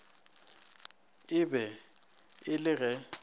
e be e le ge